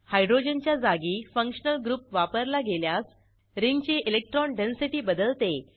हायड्रोजनच्या जागी functional group वापरला गेल्यास रिंगची इलेक्ट्रॉन डेन्सिटी बदलते